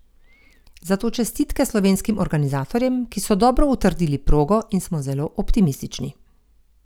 Zato čestitke slovenskim organizatorjem, ki so dobro utrdili progo in smo zelo optimistični.